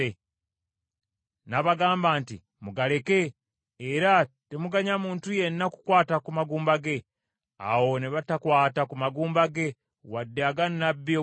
N’abagamba nti, “Mugaleke, era temuganya muntu yenna kukwata ku magumba ge.” Awo ne batakwata ku magumba ge, wadde aga nnabbi ow’e Samaliya.